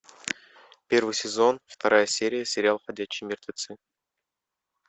первый сезон вторая серия сериал ходячие мертвецы